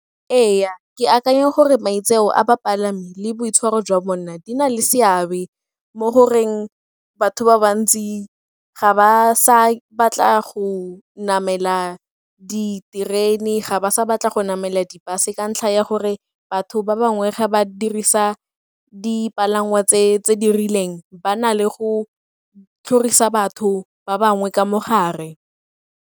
Ee, ke akanya gore maitseo a bapalami le boitshwaro jwa bona di na le seabe mo goreng batho ba bantsi ga ba sa batla go namela diterene, ga ba sa batla go namela di-bus-e ka ntlha ya gore batho ba bangwe ga ba dirisa dipalangwa tse di rileng ba na le go tlhorisa batho ba bangwe ka mo gare.